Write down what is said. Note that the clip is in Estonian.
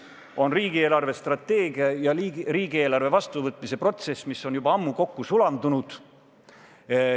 See on riigi eelarvestrateegia ja riigieelarve vastuvõtmise protsess, mis on juba ammu kokku sulanud.